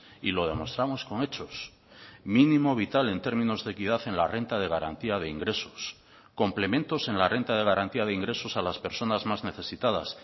y lo demostramos con hechos mínimo vital en términos de equidad en la renta de garantía de ingresos complementos en la renta de garantía de ingresos a las personas más necesitadas